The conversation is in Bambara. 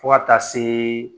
Fo ka taa se